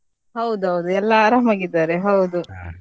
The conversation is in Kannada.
ಹೌದೌದು ಎಲ್ಲಾ ಆರಾಮಾಗಿ ಇದ್ದಾರೆ ಹೌದು.